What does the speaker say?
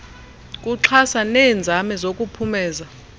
kuxhasa neenzame zokuphumeza